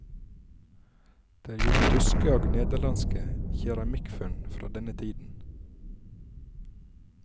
Det er gjort tyske og nederlandske keramikkfunn fra denne tiden.